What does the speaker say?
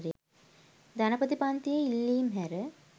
ධනපති පන්තියේ ඉල්ලීම් හැර